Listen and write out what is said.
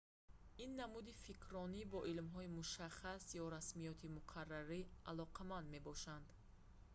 ин намуди фикрронӣ бо илмҳои мушаххас ё расмиёти муқаррарӣ алоқаманд мебошад